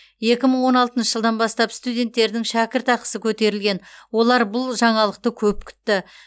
екі мың он алтыншы жылдан бастап студенттердің шәкіртақысы көтерілген олар бұл жаңалықты көп күтті